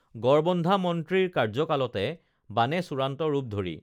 গড়বন্ধা মন্ত্ৰীৰ কাৰ্যকালতে বানে চূড়ান্ত ৰূপ ধৰি